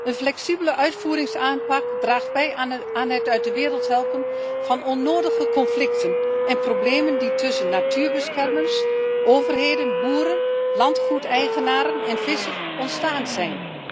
Een flexibele uitvoeringsaanpak draagt bij aan het uit de wereld helpen van onnodige conflicten en problemen die tussen natuurbeschermers, overheden, boeren, landgoedeigenaren en vissers ontstaan zijn.